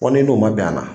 Fɔ ni n'o ma bɛn a na